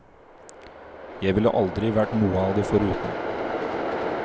Jeg ville aldri vært noe av det foruten.